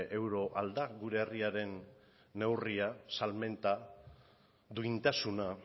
euro ahal da gure herriaren neurria salmenta duintasuna